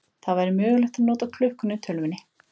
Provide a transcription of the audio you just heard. Það væri mögulegt að nota klukkuna í tölvunni.